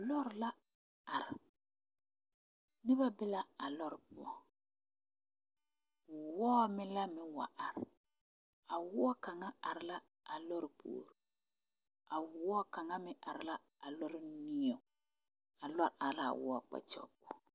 Lɔre la are ka nobɔ be o pʋɔ. Wɔɔre ayi la are, kaŋ be la a lɔre niŋeŋ kyɛ ka kaŋ meŋ be a lɔre puoreŋ. A lɔre are la a wɔɔre kpakyaga pʋɔ.